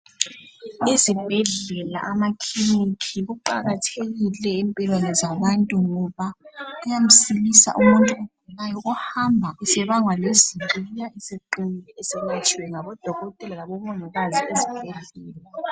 Izibhedlela amakiliniki kuqakathekile empilweni zabantu ngoba kuyamsiza umuntu ohamba esebangwa lezibi esebuya eseqinile eselatshiwe ngabo dokotela labo mongikazi esibhedlela.